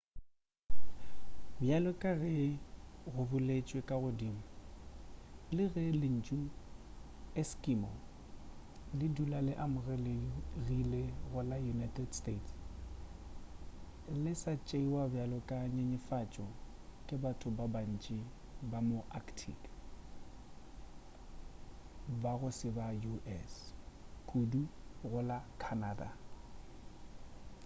bjale ka ge go boletšwe ka godimo le ge lentšu eskimo le dula le amogelegile go la united states le sa tšeiwa bjalo ka nyenyefatšo ke batho ba bantši ba ma arctic ba go se ba sa u.s. kudu go la canada